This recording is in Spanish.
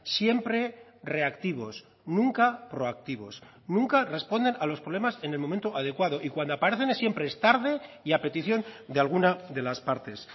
siempre reactivos nunca proactivos nunca responden a los problemas en el momento adecuado y cuando aparecen siempre es tarde y a petición de alguna de las partes